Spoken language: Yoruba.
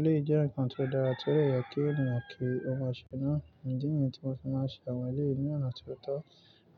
Eléyìí jẹ́ nǹkan tó dára tí ó dè ye kí ènìyàn kí ó máa ṣe náà. Ǹdí yìí ni tí mo ti máa ń ṣe àwọn ilé yìí ní ọ̀nà tio tọ́